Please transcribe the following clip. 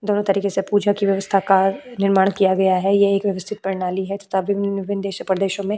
दोनों तरीके से पूजा की व्यवस्था का निर्माण किया गया है। ये एक व्यवस्थित परनाली है तथा विभिन्न-विभिन्न देशो परदेशो में --